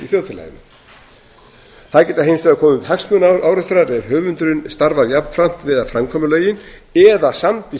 þjóðfélaginu það geta hins vegar komið upp hagsmunaárekstrar ef höfundurinn starfar jafnframt við að framkvæma lögin eða samdi